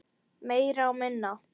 Meira og minna.